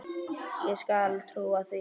Ég skal trúa því.